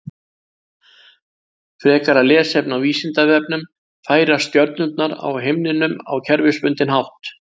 Frekara lesefni á Vísindavefnum: Færast stjörnurnar á himninum á kerfisbundinn hátt?